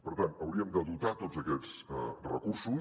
per tant hauríem de dotar tots aquests recursos